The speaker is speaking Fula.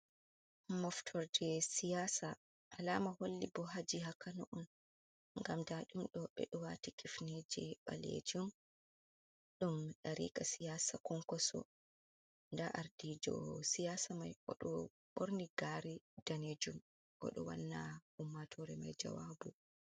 Moftorje siyasa alama holli bo ha jiha kano on ngam nda ɗum ɓeɗo waati kifneje ɓalejum ɗum dariika siyasa konkoso nda ardiɗo siyasa mai oɗo ɓorni Gaare danejum oɗo wanna ummaatore mai jawabu.